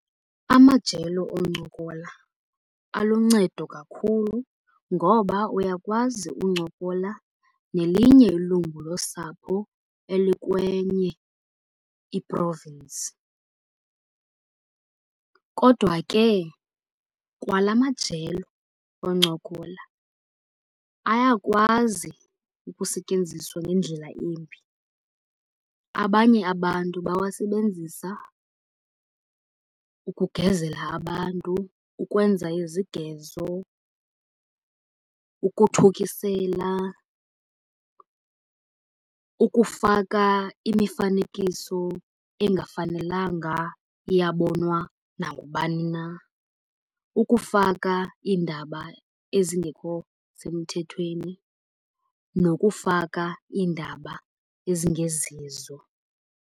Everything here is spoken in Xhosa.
Amajelo oncokola aluncedo kakhulu ngoba uyakwazi uncokola nelinye ilungu losapho elikwenye i-province. Kodwa ke kwala majelo oncokola ayakwazi ukusetyenziswa ngendlela embi. Abanye abantu bawasebenzisa ukugezela abantu, ukwenza izigezo, ukuthukisela, ukufaka imifanekiso engafanelanga iyabonwa nangubani na, ukufaka iindaba ezingekho semthethweni nokufaka iindaba ezingezizo.